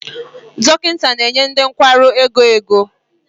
Dọkịta na-enye ndị nwere nkwarụ ego ego